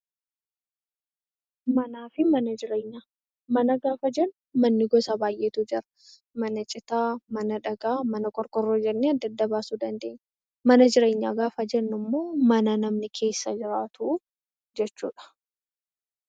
Manaa fi mana jireenyaa Mana gaafa jennu manni gosa baay'eetu jira. Mana citaa, Mana dhagaa, Mana qorqorroo jennee adda adda baasuu dandeenya. Mana jireenyaa gaafa jennu immoo Mana namni keessa jiraatu jechuu dha.